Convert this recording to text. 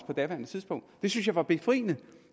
på daværende tidspunkt det synes jeg var befriende